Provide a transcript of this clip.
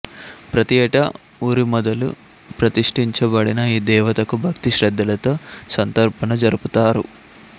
ప్రతి యేటా ఊరి మొదలు ప్రతిష్ఠించబడిన ఈ దేవతకు భక్తి శ్రద్ధలతో సంతర్పణ జరుపుతారు